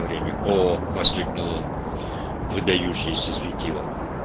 время оо воскликнул он выдающееся светило